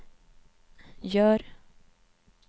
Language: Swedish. gör